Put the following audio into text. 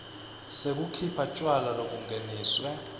sekukhipha tjwala lobungeniswe